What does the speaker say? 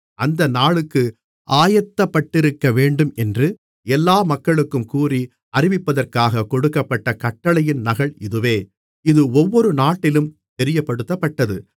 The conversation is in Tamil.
அந்த நாளுக்கு ஆயத்தப்பட்டிருக்கவேண்டும் என்று எல்லா மக்களுக்கும் கூறி அறிவிப்பதற்காகக் கொடுக்கப்பட்ட கட்டளையின் நகல் இதுவே இது ஒவ்வொரு நாட்டிலும் தெரியப்படுத்தப்பட்டது